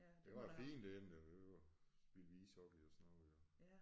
Det var fint derinde det jo spillede vi ishockey og sådan noget jo